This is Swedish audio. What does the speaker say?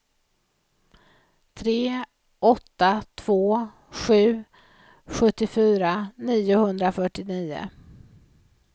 tre åtta två sju sjuttiofyra niohundrafyrtionio